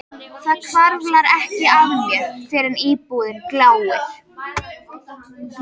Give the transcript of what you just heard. Það hvarflar ekki að mér fyrr en íbúðin gljáir.